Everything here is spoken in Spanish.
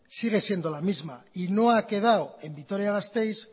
sigue siendo la misma y no ha quedado en vitoria gasteiz